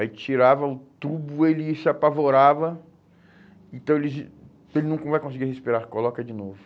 Aí tirava o tubo, ele se apavorava, então ele dizia, ele nunca vai conseguir respirar, coloca de novo.